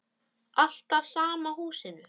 Alltaf sama húsinu.